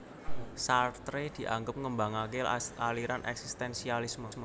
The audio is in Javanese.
Sartre dianggep ngembangaké aliran eksistensialisme